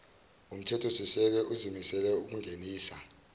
umthethosisekelo uzimisele ukungenisa